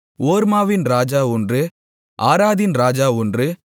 ஓர்மாவின் ராஜா ஒன்று ஆராதின் ராஜா ஒன்று